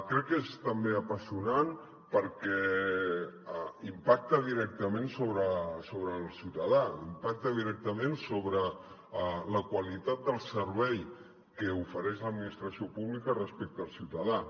crec que és també apassionant perquè impacta directament sobre el ciutadà impacta directament sobre la qualitat del servei que ofereix l’administració pública respecte al ciutadà